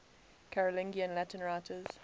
carolingian latin writers